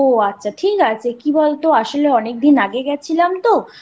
ও আচ্ছা ঠিক আছে কি বলতো আসলে অনেকদিন আগে গেছিলাম